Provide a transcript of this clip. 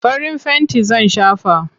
Farin fenti zan shafa.